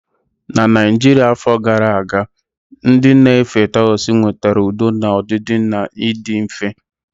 Na Naijiria afọ gara aga, ndị na-efe Taoism nwetara udo na ọdịdị na ịdị mfe.